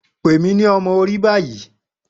Pe mi ni ọmọ ori bayi